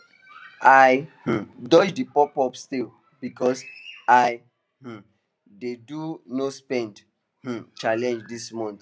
i um dodge the popup sale because i um dey do nospend um challenge this month